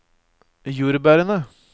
jordbærene